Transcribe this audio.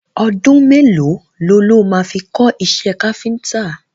Ọdún mẹ́lòó lo ló máa fi kọ́ iṣẹ́ káfíntà?